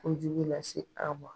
Ko jugu lase an ma.